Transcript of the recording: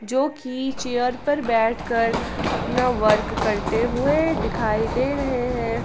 जोकि चेयर पर बैठ कर अपना वर्क करते हुए दिखाई दे रहे हैं।